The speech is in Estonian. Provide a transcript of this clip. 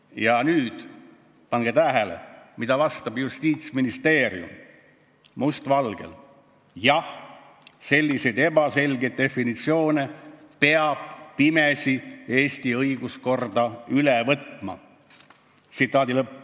Ja nüüd, pange tähele, mida vastab Justiitsministeerium must valgel: "Jah, selliseid ebaselgeid definitsioone peab "pimesi" Eesti õiguskorda üle võtma.